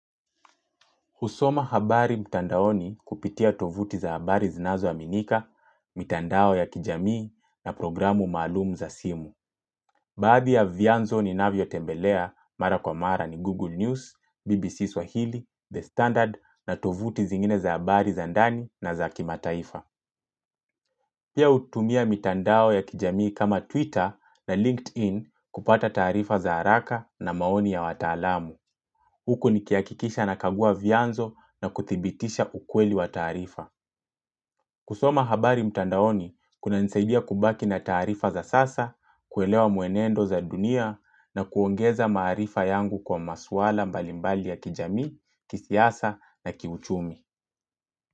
Husoma habari mtandaoni kupitia tovuti za habari zinazo aminika, mitandao ya kijamii na programu maalumu za simu. Baadhi ya vianzo ninavyo tembelea mara kwa mara ni Google News, BBC Swahili, The Standard na tovuti zingine za habari zandani na za kimataifa. Pia hutumia mitandao ya kijamii kama Twitter na LinkedIn kupata tarifa za haraka na maoni ya watalamu. Huku nikiakikisha nakagua vianzo na kuthibitisha ukweli wa tarifa. Kusoma habari mtandaoni, kuna nisaidia kubaki na tarifa za sasa, kuelewa muenendo za dunia na kuongeza maarifa yangu kwa maswala mbalimbali ya kijamii, kisiasa na kiuchumi.